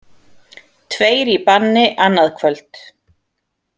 Tveir í banni annað kvöld